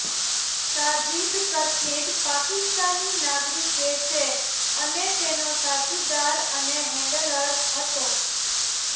સાજીદ કથિત પાકિસ્તાની નાગરિકે છે અને તેનો સાથીદાર અને હેન્ડલર હતો